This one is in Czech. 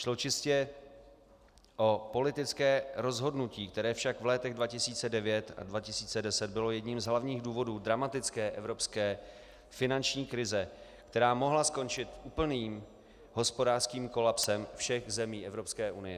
Šlo čistě o politické rozhodnutí, které však v letech 2009 a 2010 bylo jedním z hlavních důvodů dramatické evropské finanční krize, která mohla skončit úplným hospodářským kolapsem všech zemí Evropské unie.